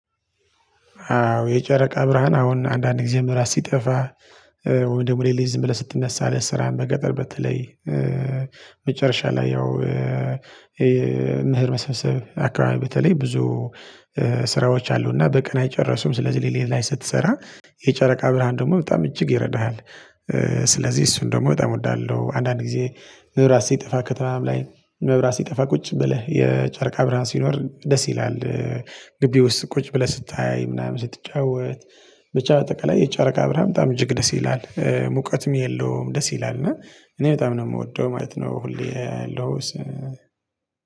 አዎ የጨረቃ ብርሃን አሁን አንዳንድ ግዜ መብራት ሲጠፋ ወይም ደሞ ሌሊት ዝም ብለህ ስትነሳ ለስራህ በገጠር በተለይ መጨረሻ ላይ ያው እሆ መህር መስመሰብ አከባቢ በተለይ ብዙ ስራዎች አሉና በቀን አይጨርሱም ስለዚህ ለሌላ ላይ ስትሰራ የጨረቃ ብርሃን ደሞ በጣም እጅግ ይረዳሃል። ስለዚህ እሱን ደሞ በጣም እወዳለሁ። አንዳንድ ጊዜ መብራት ሲጠፋ ከተማም ላይ መብራት ሲጠፋ ቁጭ ብለህ የጨርቃ ብርሃን ሲኖር ደስ ይላል። ግቢውስ ቁጭ ብለህ ስታይ ምናምን ስትጫወት። ብቻ ባጠቅላይ የጨረቃ ብርሃም በጣም እጅግ ደስ ይላል ሙቀትም የለውም ደስ ይላል እና እኔ በጣም ነው ምወደው ማለት ነው። ሁሌ ሎስ